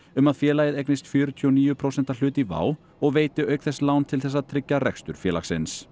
um að félagið eignist fjörutíu og níu prósenta hlut í WOW og veiti auk þess lán til þess að tryggja rekstur félagsins